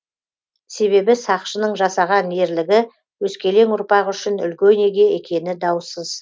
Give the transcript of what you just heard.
себебі сақшының жасаған ерлігі өскелең ұрпақ үшін үлгі өнеге екені даусыз